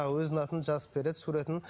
өзінің атын жазып береді суретін